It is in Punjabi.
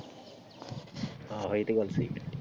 ਆਹੋ ਇਹ ਤੇ ਗੱਲ ਸਹੀ ਆ।